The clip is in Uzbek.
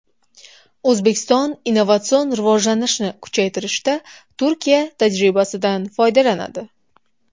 O‘zbekiston innovatsion rivojlanishni kuchaytirishda Turkiya tajribasidan foydalanadi.